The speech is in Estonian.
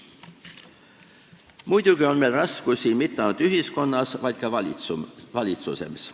Muidugi on meil raskusi mitte ainult ühiskonnas, vaid ka valitsemises.